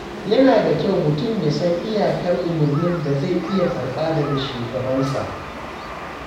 Yana da kyau mutum ya san iyakar umarnin da zai iya karɓa daga shugabansa.